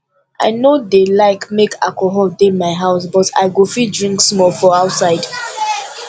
i no dey like make alcohol dey my house but i go fit drink small for outside